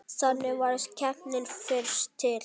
Þannig varð keppnin fyrst til.